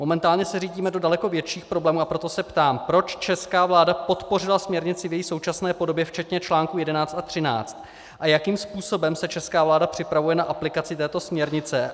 Momentálně se řítíme do daleko větších problémů, a proto se ptám, proč česká vláda podpořila směrnici v její současné podobě, včetně článku 11 a 13, a jakým způsobem se česká vláda připravuje na aplikaci této směrnice.